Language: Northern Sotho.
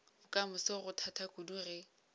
bokamoso go thata kudu ge